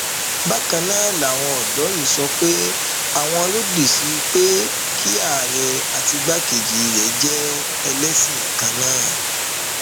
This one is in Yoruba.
bákan náà làwọn ọdọ yìí sọ pé àwọn lòdì sí pé kí àárẹ àti igbákejì rẹ jẹ ẹlẹsìn kan náà